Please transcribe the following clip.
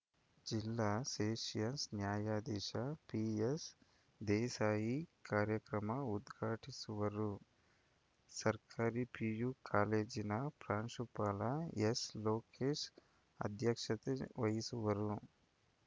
ಜಿಲ್ಲಾ ಸೆಷನ್ಸ್‌ ನ್ಯಾಯಾಧೀಶ ಪಿಎಸ್‌ದೇಸಾಯಿ ಕಾರ್ಯಕ್ರಮ ಉದ್ಘಾಟಿಸುವರು ಸರ್ಕಾರಿ ಪಿಯು ಕಾಲೇಜಿನ ಪ್ರಾಂಶುಪಾಲ ಎಸ್‌ಲೋಕೇಶ ಅಧ್ಯಕ್ಷತೆ ವಹಿಸುವರು